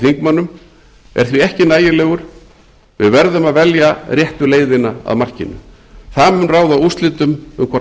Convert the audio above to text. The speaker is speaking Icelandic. þingmönnum er því ekki nægilegur við verðum að velja réttu leiðina að markinu það mun ráða úrslitum um hvort